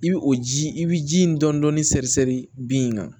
I bi o ji i bi ji in dɔɔnin dɔɔnin sɛri sɛri bin in kan